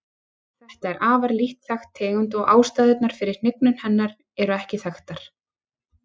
Þetta er afar lítt þekkt tegund og ástæðurnar fyrir hnignun hennar eru ekki þekktar.